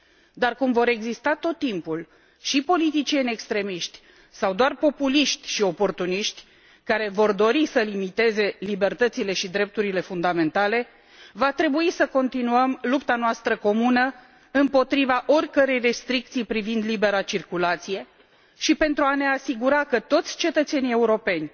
Dar, cum vor exista tot timpul și politicieni extremiști, sau doar populiști și oportuniști, care vor dori să limiteze libertățile și drepturile fundamentale, va trebui să continuăm lupta noastră comună împotriva oricărei restricții privind libera circulație și pentru a ne asigura că toți cetățenii europeni,